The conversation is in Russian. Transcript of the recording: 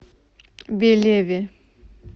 белеве